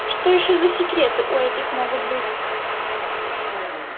что ещё за секреты у этих могут быть